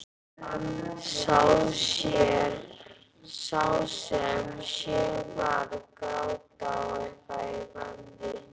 Sá sem sér mann gráta á eitthvað í manni.